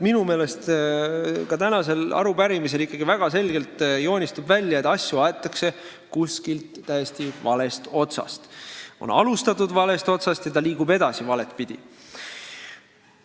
Minu meelest ka tänase arutelu ajal joonistus ikkagi väga selgelt välja, et asju aetakse täiesti valest otsast, on alustatud valest otsast ja edasi liigutakse valet pidi.